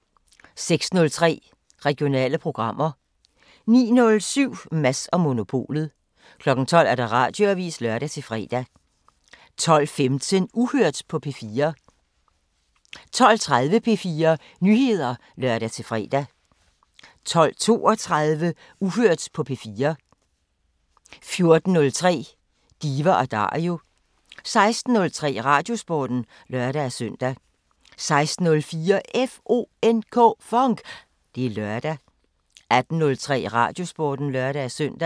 06:03: Regionale programmer 09:07: Mads & Monopolet 12:00: Radioavisen (lør-fre) 12:15: Uhørt på P4 12:30: P4 Nyheder (lør-fre) 12:32: Uhørt på P4 14:03: Diva & Dario 16:03: Radiosporten (lør-søn) 16:04: FONK! Det er lørdag 18:03: Radiosporten (lør-søn)